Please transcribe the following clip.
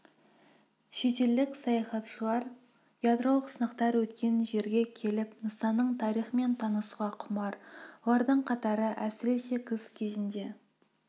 шетелдік саяхатшылар ядролық сынақтар өткен жерге келіп нысанның тарихымен танысуға құмар олардың қатары әсіресе күз кезінде